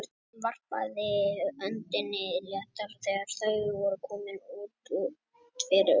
Hún varpaði öndinni léttar þegar þau voru komin út fyrir túnið.